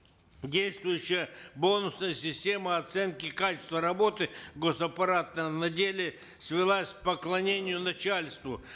действующая бонусная система оценки качества работы гос аппарата на деле свелась к поклонению начальству